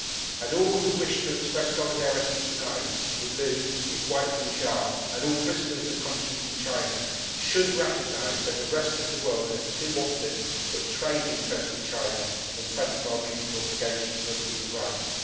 All who wish to express solidarity tonight with Liu, his wife Liu Xia and all prisoners of conscience in China, should recognise that the rest of the world has too often put trade interests with China before our mutual obligations on human rights.